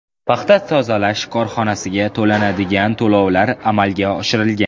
Paxta tozalash korxonasiga to‘lanadigan to‘lovlar amalga oshirilgan.